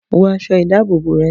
Wọ aṣọ ìdábòbò rẹ!